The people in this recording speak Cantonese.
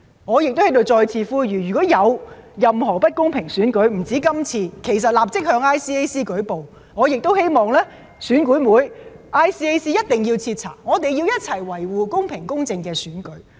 我在此再次呼籲，如有任何不公平選舉——不只是這一次——其實可以立即向 ICAC 舉報，我亦希望選管會及 ICAC 一定要徹查，我們要一起維護公平公正的選舉。